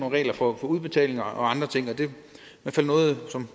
regler for udbetaling og andre ting det er